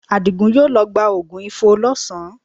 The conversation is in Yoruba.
Àdìgún yóò lọ gba oògùn Ifo lọ́sàn-án